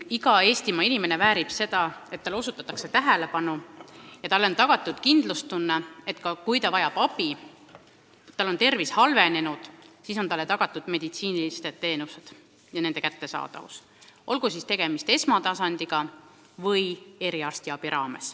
Iga Eestimaa inimene väärib seda, et talle osutatakse tähelepanu ja ta saab kindel olla, et kui ta vajab abi, tal on tervis halvenenud, siis on talle tagatud meditsiinilised teenused, olgu tegemist esmatasandiga või eriarstiabiga.